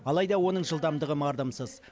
алайда оның жылдамдығы мардымсыз